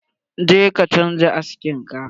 Jeka canza aski ka!